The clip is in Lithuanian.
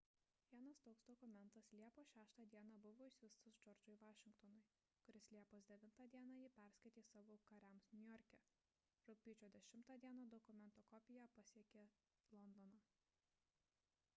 vienas toks dokumentas liepos 6 d buvo išsiųstas džordžui vašingtonui kuris liepos 9 d jį perskaitė savo kariams niujorke rugpjūčio 10 d dokumento kopija pasiekė londoną